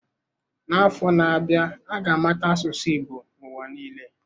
N'afọ na-abịa, a ga-amata asụsụ Igbo n'ụwa niile.